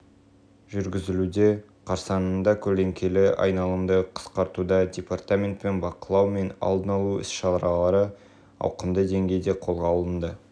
жүргізілуде қарсаңында көлеңкелі айналымды қысқартуда департаментпен бақылау мен алдын алу іс-шаралары ауқымды деңгейде қолға алынды